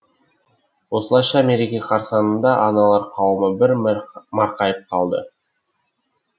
осылайша мереке қарсаңында аналар қауымы бір марқайып қалды